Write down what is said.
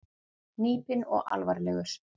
Hnípinn og alvarlegur.